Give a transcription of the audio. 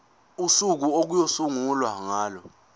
usuku okuyosungulwa ngalo